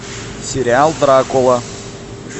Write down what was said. сериал дракула